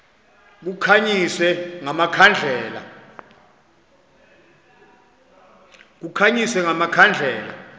kukhanyiswe nga makhandlela